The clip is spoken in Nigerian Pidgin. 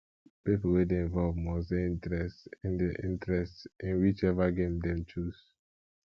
pipo wey de involve must de interest in de interest in which ever game them choose